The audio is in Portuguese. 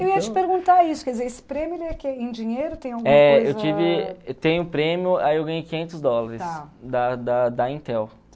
Eu ia te perguntar isso, quer dizer, esse prêmio em dinheiro tem alguma coisa o prêmio, aí eu ganhei quinhentos dólares da da da Intel.